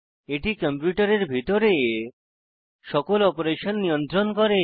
এটি কম্পিউটারের ভিতরে সকল অপারেশন নিয়ন্ত্রণ করে